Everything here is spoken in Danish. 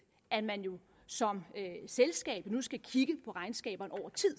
at man som selskab nu skal kigge på regnskabet